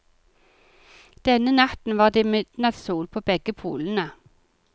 Denne natten var det midnattssol på begge polene.